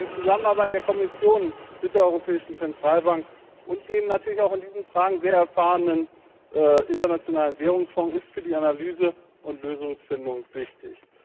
Die Zusammenarbeit der Kommission mit der Europäischen Zentralbank und dem natürlich in diesen Fragen auch sehr erfahrenen Internationalen Währungsfonds ist für die Analyse und Lösungsfindung wichtig.